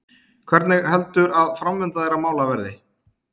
Hvernig heldur að framvinda þeirra mála verði?